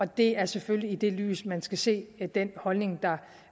det er selvfølgelig i det lys man skal se den holdning der